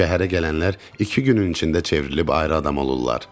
Şəhərə gələnlər iki günün içində çevrilib ayrı adam olurlar.